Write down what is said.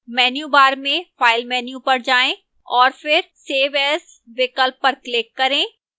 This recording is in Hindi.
menu bar में file menu पर जाएं और फिर save as विकल्प कर click करें